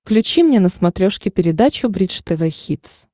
включи мне на смотрешке передачу бридж тв хитс